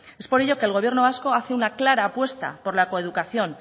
es por ello que el gobierno vasco hace una clara apuesta por la coeducación